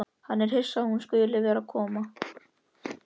Hann er hissa að hún skuli vera að koma.